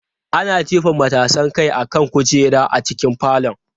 Ana jefa matasan kai akan kujera a cikin falon.